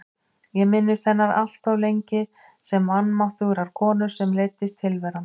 Ég minntist hennar alltof lengi sem vanmáttugrar konu sem leiddist tilveran.